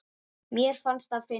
Mér fannst það fyndið.